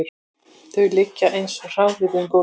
Þau liggja eins og hráviði um gólfið